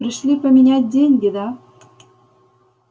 пришли поменять деньги да